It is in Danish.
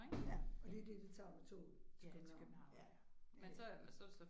Ja og det er det det tager med toget til Købehavn ja ja det